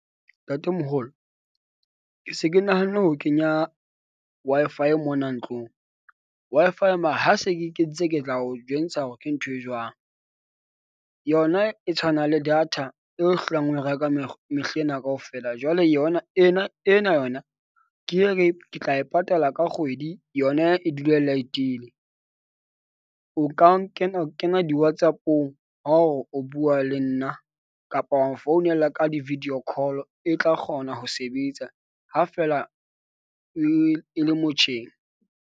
Ntatemoholo ke se ke nahanne ho kenya Wi-Fi mona ntlong Wi-Fi ya . Ha se ke e kentse, ke tla o jwentsha hore ke ntho e jwang. Yona e tshwana le data eo o hlohang o e reka mehlena kaofela jwale yona ena ena yona, ke ye ke tla e patala ka kgwedi yona e dule e light-ile. O ka kena kena di-Whatsapp-ong ha o re o bua le nna kapa wang founela ka di-video call-o, e tla kgona ho sebetsa ha feela e, e le motjheng.